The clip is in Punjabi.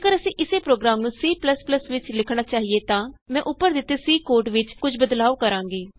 ਜੇਕਰ ਅਸੀਂ ਇਸੇ ਪ੍ਰੋਗਰਾਮ ਨੂੰ C ਵਿਚ ਲਿਖਣਾ ਚਾਹੀਏ ਤਾਂ ਮੈਂ ਉੱਪਰ ਦਿਤੇ C ਕੋਡ ਵਿਚ ਕੁਝ ਬਦਲਾਉ ਕਰਾਂਗੀ